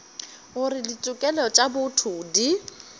gore ditokelo tša botho di